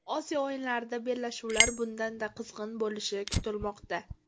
Osiyo o‘yinlaridagi bellashuvlar bundan-da qizg‘in bo‘lishi kutilmoqda.